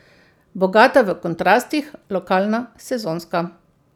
Bogata v kontrastih, lokalna, sezonska.